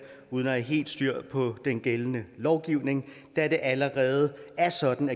uden at have helt styr på den gældende lovgivning da det allerede er sådan